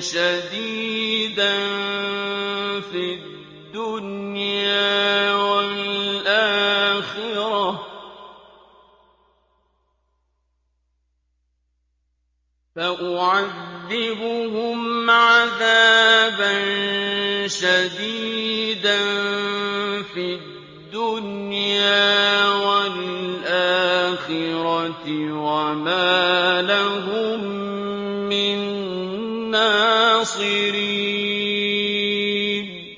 شَدِيدًا فِي الدُّنْيَا وَالْآخِرَةِ وَمَا لَهُم مِّن نَّاصِرِينَ